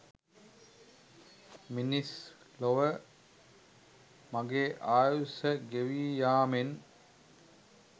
මිනිස් ලොව මගේ ආයුෂ ගෙවී යාමෙන්